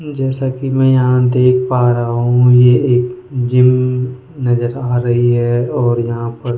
जैसा कि मैं यहां देख पा रहा हूं ये एक जिम नजर आ रही है और यहां पर --